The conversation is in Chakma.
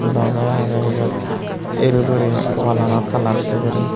loge age iyot el guri wall anot colour de guri.